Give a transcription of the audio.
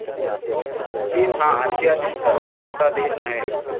चीन हा आशियातील सर्वात मोठा देश आहे.